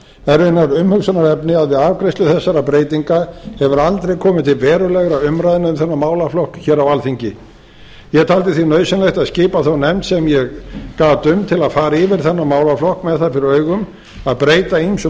það er raunar umhugsunarefni að við afgreiðslu þessara breytinga hefur aldrei komið til verulegra umræðna um þennan málaflokk hér á alþingi ég taldi því nauðsynlegt að skipa þá nefnd sem ég gat um til að fara yfir þennan málaflokk með það fyrir augum að breyta ýmsum